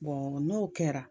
n'o kɛra